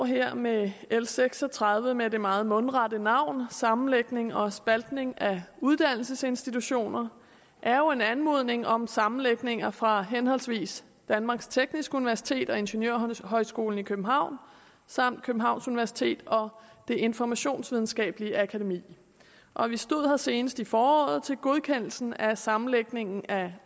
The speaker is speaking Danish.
her med l seks og tredive med det meget mundrette navn sammenlægning og spaltning af uddannelsesinstitutioner er jo en anmodning om sammenlægninger fra henholdsvis danmarks tekniske universitet ingeniørhøjskolen i københavn samt københavns universitet og det informationsvidenskabelige akademi og vi stod her senest i foråret til godkendelsen af sammenlægningen af